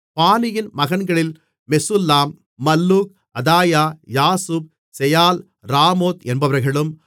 பானியின் மகன்களில் Meshullam Malluch Adaiah Jashub Sheal Ramoth என்பவர்களும்